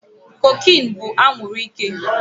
Cocaine bú anwuru ike